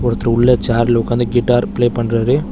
ஒருத்தரு உள்ள சேர்ல உக்காந்து கிட்டார் ப்ளே பண்றாரு.